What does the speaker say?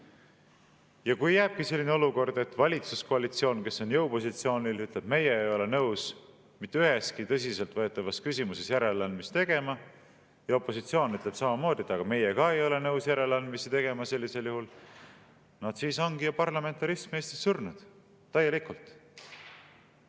Ja kui jääbki selline olukord, et valitsuskoalitsioon, kes on jõupositsioonil, ütleb, et meie ei ole nõus mitte üheski tõsiselt võetavas küsimuses järeleandmisi tegema, ja opositsioon ütleb samamoodi, et meie ka ei ole nõus järeleandmisi tegema – sellisel juhul ongi parlamentarism Eestis surnud, täielikult.